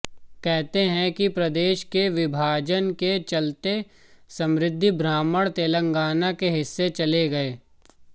कहते हैं कि प्रदेश के विभाजन के चलते समृद्ध ब्राह्मण तेलंगाना के हिस्से चले गए